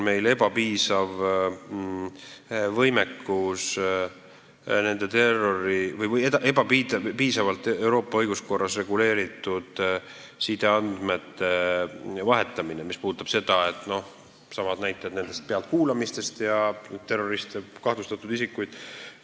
Euroopa õiguskorras on iseenesest ebapiisavalt reguleeritud sideandmete vahetamine, mis puudutab näiteks neidsamu terroristide ja kahtlustatud isikute pealtkuulamisi.